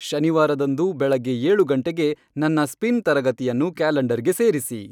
ಶನಿವಾರದಂದು ಬೆಳಗ್ಗೆ ಏಳು ಗಂಟೆಗೆ ನನ್ನ ಸ್ಪಿನ್ ತರಗತಿಯನ್ನು ಕ್ಯಾಲೆಂಡರ್ಗೆ ಸೇರಿಸಿ